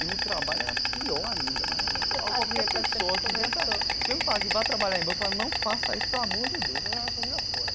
E o trabalho era pior ainda, mas qualquer pessoa que vinha vinha me falar que vai trabalhar em banco, eu falava, não faça isso, pelo amor de Deus, você vai jogar a sua vida fora.